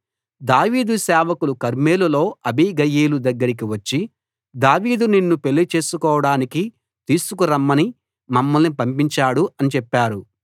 దావీదు సేవకులు కర్మెలులో అబీగయీలు దగ్గరికి వచ్చి దావీదు నిన్ను పెళ్లి చేసుకోడానికి తీసుకు రమ్మని మమ్మల్ని పంపించాడు అని చెప్పారు